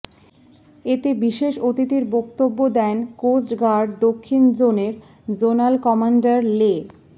এতে বিশেষ অতিথির বক্তব্য দেন কোস্টগার্ড দক্ষিণ জোনের জোনাল কমান্ডার লে